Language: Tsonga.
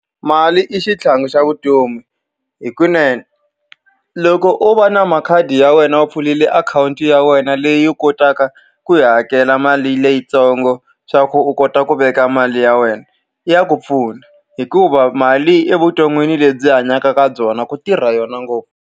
Mali i xitlhangu xa vutomi. Hikunene, loko o va na makhadi ya wena u pfulele akhawunti ya wena leyi u kotaka ku yi hakela mali leyitsongo leswaku u kota ku veka mali ya wena, ya ku pfuna. Hikuva mali evuton'wini lebyi hi hanyaka ka byona ku tirha yona ngopfu.